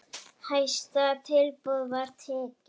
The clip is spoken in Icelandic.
Hæsta tilboði var tekið.